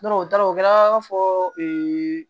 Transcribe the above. o taara o kɛra an b'a fɔ